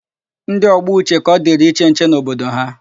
Ndị ọgbọ Uche ka ọ dịrị iche nche n'obodo ha.